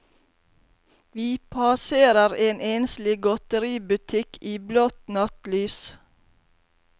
Vi passerer en enslig godteributikk i blått nattlys.